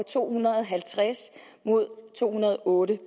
to hundrede og halvtreds mod to hundrede og otte